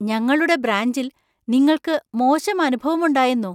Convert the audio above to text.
ഞങ്ങളുടെ ബ്രാഞ്ചിൽ നിങ്ങൾക്ക് മോശം അനുഭവമുണ്ടായെന്നോ?